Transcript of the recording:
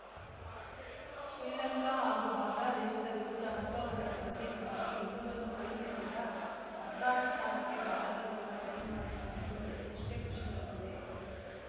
ಶ್ರೀಲಂಕಾ ಹಾಗೂ ಬಾಂಗ್ಲಾದೇಶದ ವಿರುದ್ಧ ಅನುಭವದ ಕೊರತೆಯಿಂದಾಗಿ ಗೆಲುವನ್ನು ಕೈಚೆಲ್ಲಿದ್ದ ಆಫ್ಘಾನಿಸ್ತಾನಕ್ಕೆ ಭಾರತ ವಿರುದ್ಧ ಟೈ ಮಾಡಿಕೊಂಡಿದ್ದು ಗೆದ್ದಷ್ಟೇ ಖುಷಿ ತಂದಿದೆ